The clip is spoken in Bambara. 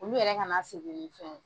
Olu yɛrɛ kana segi ni fɛn ye.